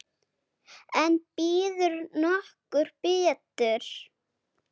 En býður nokkur betur?